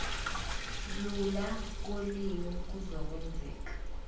lula kolimi kuzokwenzeka